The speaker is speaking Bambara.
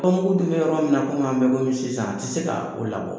Ko mugu bɛ yɔrɔ min na komi an bɛ yɔrɔ min na i ko sisan a tɛ se ka o labɔ